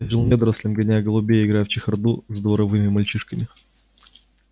я жил недорослем гоняя голубей и играя в чехарду с дворовыми мальчишками